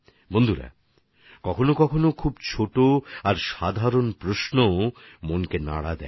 বন্ধুগণ কখনও কখনও অনেক ছোট আর সাধারণ প্রশ্নও মনকে নাড়িয়ে যায়